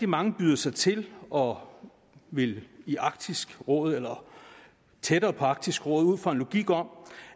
mange byder sig til og vil i arktisk råd eller tættere på arktisk råd ud fra en logik om